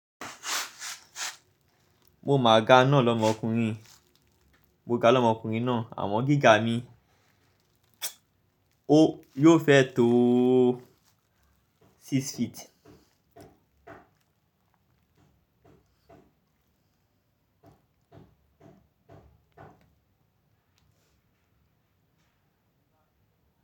Mo ma ga náà l'ọmọkùnrin, mo ga l'omọkùnrin náà àmọ gíga mi, ó yóò fẹ́ tó six feet.